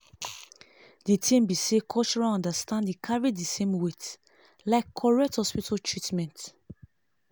d thing be saycultural understanding carry di same weight like correct hospital treatment